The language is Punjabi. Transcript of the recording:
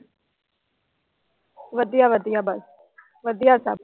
ਵਧੀਆ ਵਧੀਆ ਬਸ। ਵਧੀਆ ਸਭ।